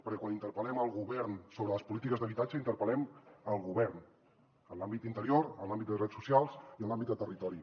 perquè quan interpel·lem el govern sobre les polítiques d’habitatge interpel·lem el govern en l’àmbit d’interior en l’àmbit de drets socials i en l’àmbit de territori